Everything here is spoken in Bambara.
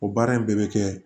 O baara in bɛɛ bɛ kɛ